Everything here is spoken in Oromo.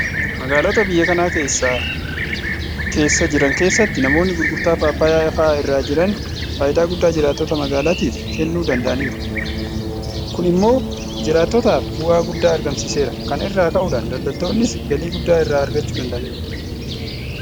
Magaalota biyya kana keessa jiran keessatti namoonni gurgurtaa paappaayyaa fa'aa irra jiran faayidaa guddaa jiraattota magaalaatiif kennuu danda'aniiru. Kun immoo jiraattotaaf bu'aa guddaa argamsiiseera. Kana irraa ka'uudhaan daldaltoonnis galii guddaa irraa argachuu danda'aniiru.